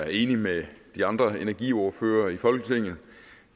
er enig med de andre energiordførere i folketinget